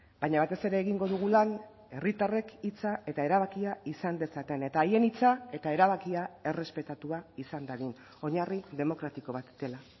baina batez ere egingo dugu lan herritarrek hitza eta erabakia izan dezaten eta haien hitza eta erabakia errespetatua izan dadin oinarri demokratiko bat dela